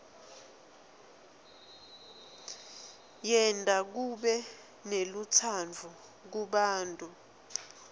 yenta kube nelutsandvo kubantfu